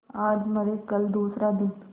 आज मरे कल दूसरा दिन